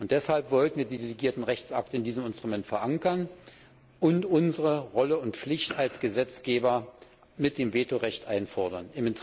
Deshalb wollten wir die delegierten Rechtsakte in diesem Instrument verankern und unsere Rolle und Pflicht als Gesetzgeber mit dem Vetorecht einfordern.